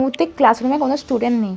এই মুহূর্তে class room -এ কোন স্টুডেন্ট নেই।